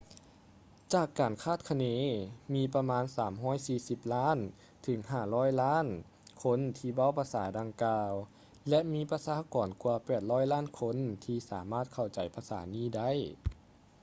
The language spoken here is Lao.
ຈາກການຄາດຄະເນ ມີປະມານ 340 ລ້ານ ເຖິງ 500 ລ້ານຄົນທີ່ເວົ້າພາສາດັ່ງກ່າວ ແລະ ມີປະຊາກອນກວ່າ 800 ລ້ານຄົນທີ່ສາມາດເຂົ້າໃຈພາສານີ້ໄດ້